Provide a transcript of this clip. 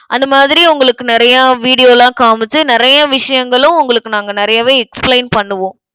அந்த மாதிரி உங்களுக்கு நிறைய video லாம் காமிச்சு நிறைய விஷயங்களும் உங்களுக்கு நாங்க நிறையவே explain பண்ணுவோம்.